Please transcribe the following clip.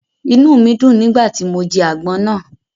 Inúù mi dùn nígbà tí mo jẹ àgbon náà.